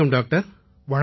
வணக்கம் டாக்டர்